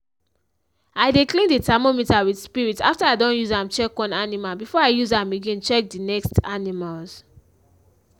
i dey clean the thermometer with spirit after i don use am check one animal before i use am again check the next next animals.